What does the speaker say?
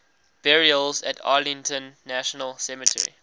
burials at arlington national cemetery